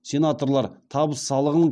сенаторлар табыс салығын